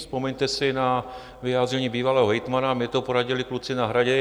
Vzpomeňte si na vyjádření bývalého hejtmana: "Mně to poradili kluci na Hradě.